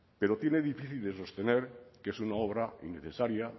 pero tiene difícil de sostener que es una obra innecesaria